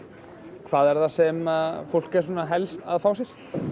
hvað er það sem fólk er helst að fá sér